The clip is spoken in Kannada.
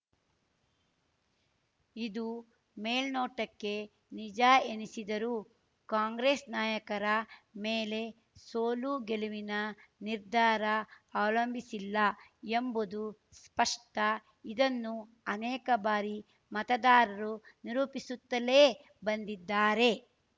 ಇದು ಮೇಲ್ನೋಟಕ್ಕೆ ನಿಜ ಎನಿಸಿದರೂ ಕಾಂಗ್ರೆಸ್‌ ನಾಯಕರ ಮೇಲೆ ಸೋಲುಗೆಲುವಿನ ನಿರ್ಧಾರ ಅವಲಂಬಿಸಿಲ್ಲ ಎಂಬುದು ಸ್ಪಷ್ಟ ಇದನ್ನು ಅನೇಕ ಬಾರಿ ಮತದಾರರು ನಿರೂಪಿಸುತ್ತಲ್ಲೇ ಬಂದಿದ್ದಾರೆ